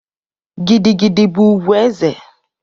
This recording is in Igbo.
Gidi gidi bụ ùgwù ezé.